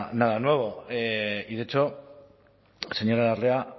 nada nuevo y de hecho señora larrea